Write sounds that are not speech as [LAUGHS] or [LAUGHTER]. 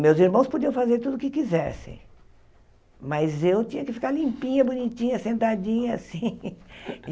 Meus irmãos podiam fazer tudo o que quisessem, mas eu tinha que ficar limpinha, bonitinha, sentadinha, assim. [LAUGHS]